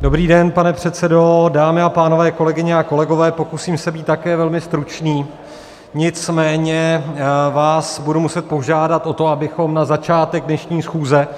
Dobrý den, pane předsedo, dámy a pánové, kolegyně a kolegové, pokusím se být také velmi stručný, nicméně vás budu muset požádat o to, abychom na začátek dnešní schůze,